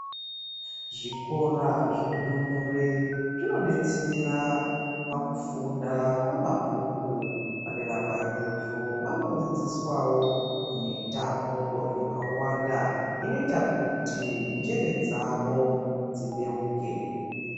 Zvikora zvendumure zvinodetsera pakufunda kwemabhuku. Padera paizvozvo vanodzidziswawo mitambo yakawanda inoita kuti njere dzavowo dzibeuke.